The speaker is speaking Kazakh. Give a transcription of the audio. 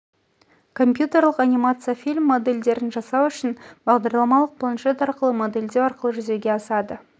компьютерлік анимация фильм модельдерін жасау үшін бағдарламалық планшет арқылы модельдеу арқылы жүзеге асады